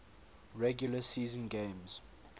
regular season games